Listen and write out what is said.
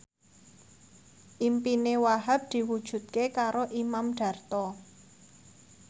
impine Wahhab diwujudke karo Imam Darto